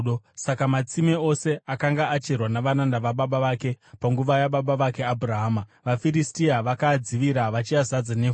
Saka matsime ose akanga acherwa navaranda vababa vake panguva yababa vake Abhurahama, vaFiristia vakaadzivira, vachiazadza nevhu.